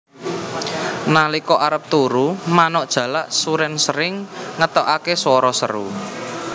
Nalika arep turu manuk jalak surèn sering ngetokaké swara seru